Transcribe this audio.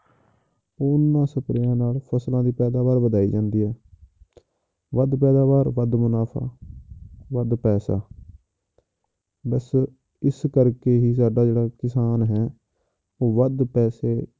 ਉਹਨਾਂ ਸਪਰੇਆਂ ਨਾਲ ਫਸਲਾਂ ਦੀ ਪੈਦਾਵਾਰ ਵਧਾਈ ਜਾਂਦੀ ਹੈ ਵੱਧ ਪੈਦਾਵਾਰ ਵੱਧ ਮੁਨਾਫ਼ਾ ਵੱਧ ਪੈਸਾ ਬਸ ਇਸੇ ਕਰਕੇ ਹੀ ਸਾਡਾ ਜਿਹੜਾ ਕਿਸਾਨ ਹੈ ਉਹ ਵੱਧ ਪੈਸੇ